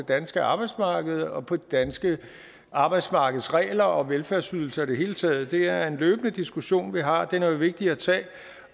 danske arbejdsmarked og på de danske arbejdsmarkedsregler og velfærdsydelser i det hele taget det er en løbende diskussion vi har og den er vigtig at tage